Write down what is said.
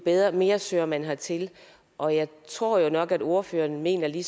mere søger man hertil og jeg tror jo nok at ordføreren mener det